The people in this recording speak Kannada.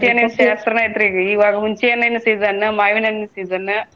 ಇವಾಗ ಹುಣ್ಣ್ಸಿಹಣ್ಣಿನ season ಮಾವಿನ ಹಣ್ಣಿನ season .